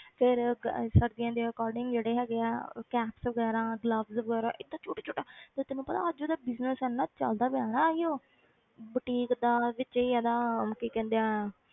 ਫਿਰ ਗ~ ਸਰਦੀਆਂ ਦੇ according ਜਿਹੜੇ ਹੈਗੇ ਆ ਉਹ caps ਵਗ਼ੈਰਾ gloves ਵਗ਼ੈਰਾ ਏਦਾਂ ਛੋਟਾ ਛੋਟਾ ਤੇ ਤੈਨੂੰ ਪਤਾ ਅੱਜ ਉਹਦਾ business ਇੰਨਾ ਚੱਲਦਾ ਪਿਆ ਨਾ ਇਹੀਓ boutique ਦਾ ਵਿਚੇ ਹੀ ਇਹਦਾ ਕੀ ਕਹਿੰਦੇ ਆ